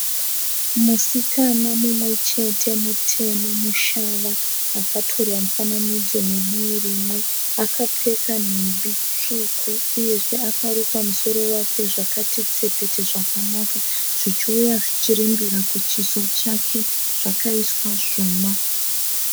Musikana mumwe chete mutema mushava akatorwa mufananidzo nedivi rimwe. Akapfeka nhumbi tsvuku uyezve akarukwa musoro wake zvakati tsepete zvakanaka zvichiuya zvichirembera kuchiso chake zvakaiswa zvuma.